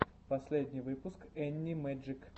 последний выпуск энни мэджик